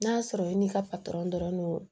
N'a sɔrɔ i n'i ka dɔrɔn